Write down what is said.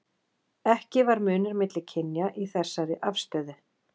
ekki var munur milli kynja í þessari afstöðu